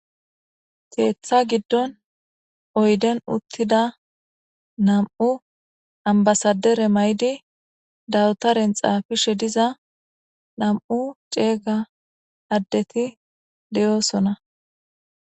Keetha giddon oyden uttida nam7u ambasadere may7di dawutaren xaafishe diza nam7u ceeyga addeti deyoosona